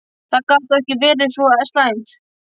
Það gat þá ekki verið svo slæmt.